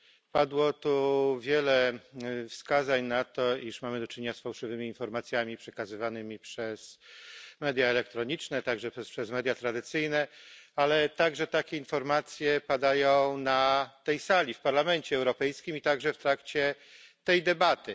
Padło tu wiele wskazań na to, iż mamy do czynienia z fałszywymi informacjami przekazywanymi przez media elektroniczne, także przez media tradycyjne, ale także takie informacje padają na tej sali w Parlamencie Europejskim i także w trakcie tej debaty.